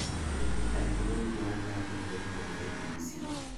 ainon mwaet ab logoiwek en k.b.c